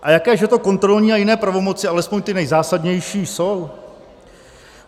A jaké že to kontrolní a jiné pravomoci, alespoň ty nejzásadnější, jsou?